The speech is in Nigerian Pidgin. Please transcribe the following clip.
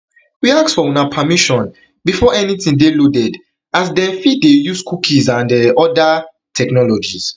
we ask for una permission before anytin dey loaded as dem fit fit dey use cookies and um oda technologies